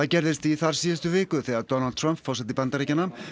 gerðist í þarsíðustu viku þegar Donald Trump